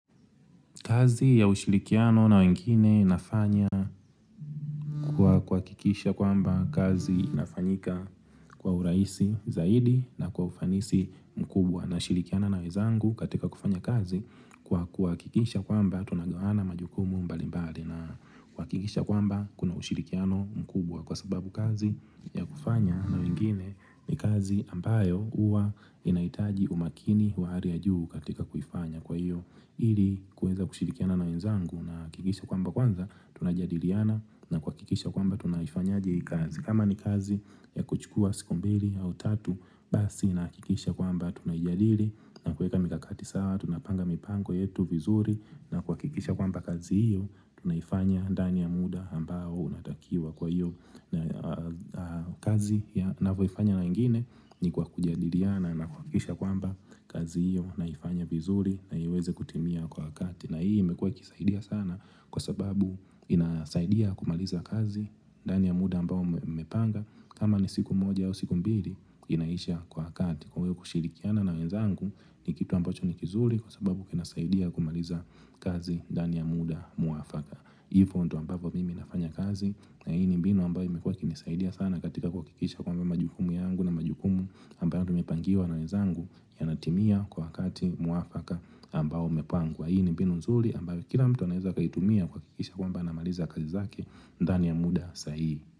Kazi ya ushirikiano na wengine inafanya kuhakikisha kwamba kazi inafanyika kwa urahisi zaidi na kwa ufanisi mkubwa nashirikiana na wezangu katika kufanya kazi kuhakikisha kwamba tunagawana majukumu mbalimbali na kuhakikisha kwamba kuna ushirikiano mkubwa kwa sababu kazi ya kufanya na wengine ni kazi ambayo huwa inahitaji umakini wa hali ya juu katika kuifanya kwa hiyo. Ili kuweza kushirikiana na wenzangu nahakikisha kwamba kwanza tunajadiliana na kuhakikisha kwamba tunaifanyaje hii kazi kama ni kazi ya kuchukua siku mbili au tatu basi nahakikisha kwamba tunaijadili na kuweka mikakati sawa Tunapanga mipango yetu vizuri na kuhakikisha kwamba kazi hiyo tunaifanya ndani ya muda ambao natakiwa kwa hiyo kazi ninapoifanya na wengine ni kwa kujadiliana na kuhakikisha kwamba kazi hiyo naifanya vizuri na iweze kutimia kwa wakati na hii imekuwa ikisaidia sana kwa sababu inasaidia kumaliza kazi ndani ya muda ambao mmepanga kama ni siku moja au siku mbili inaisha kwa kati Kwa hiyo kushirikiana na wenzangu ni kitu ambacho ni kizuri kwa sababu kinasaidia kumaliza kazi ndani ya muda mwafaka hivyo ndiyo ambavyo mimi nafanya kazi na hii ni mbinu ambayo imekuwa ikinisaidia sana katika kuhakikisha kwamba majukumu yangu na majukumu ambayo tumepangiwa na wezangu yanatimia kwa wakati mwafaka ambao umepangwa na hii ni mbinu nzuri ambayo kila mtu anaweza akaitumia kuhakikisha kwamba anamaliza kazi zake ndani ya muda sahihi.